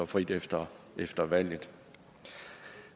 frit efter efter valget